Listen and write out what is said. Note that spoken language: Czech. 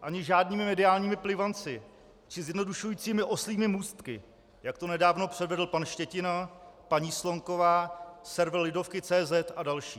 Ani žádnými mediálními plivanci či zjednodušujícími oslími můstky, jak to nedávno předvedl pan Štětina, paní Slonková, server Lidovky.cz a další.